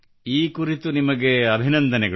ಈ ಕುರಿತು ನಿಮಗೆ ಅಭಿನಂದನೆಗಳು